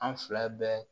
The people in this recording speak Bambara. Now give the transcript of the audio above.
An fila bɛɛ